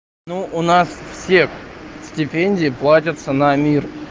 ну у нас все стипендии платятся на мир